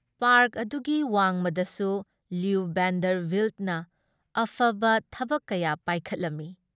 Park ꯑꯗꯨꯒꯤ ꯋꯥꯡꯃꯗꯁꯨ Louis ꯚꯦꯟꯗꯔꯚꯤꯜꯠꯅ ꯑꯐꯕ ꯊꯕꯛ ꯀꯌꯥ ꯄꯥꯏꯈꯠꯂꯝꯃꯤ ꯫